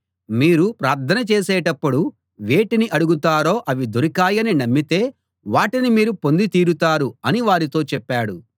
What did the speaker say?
మీరు ప్రార్థన చేసేటప్పుడు వేటిని అడుగుతారో అవి దొరికాయని నమ్మితే వాటిని మీరు పొంది తీరుతారు అని వారితో చెప్పాడు